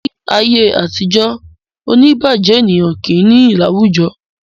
Ní ayé àtijó, oní ìbàjé ènìyàn kì í nìyí láwùjọ